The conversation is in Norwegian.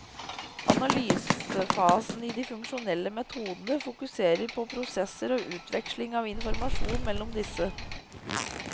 Analysefasen i de funksjonelle metodene fokuserer på prosesser og utvekslingen av informasjon mellom disse.